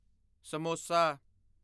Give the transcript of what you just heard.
samosa